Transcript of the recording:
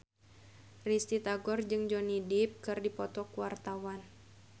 Risty Tagor jeung Johnny Depp keur dipoto ku wartawan